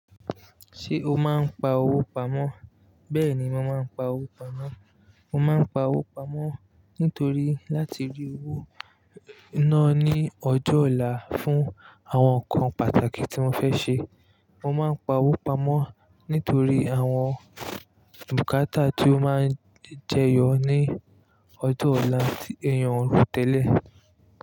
Ṣé o máa ń pa owó pamọ́? Bẹ́ẹ̀ni, mo máa ń pa owó pamọ́. Mo máa ń pa owó pamọ́ nítorí láti rí owó náà ní ọjọ́ ọ̀la fún àwọn nǹkan pàtàkì tí mo fẹ́ ṣe. Mo máa ń pa owó pamọ́ nítorí àwọn bùkátà tó máa ń jẹyọ ní ọjọ́ ọ̀la tí èèyàn ò ro tẹ́lẹ̀